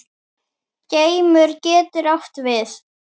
Geimur getur átt við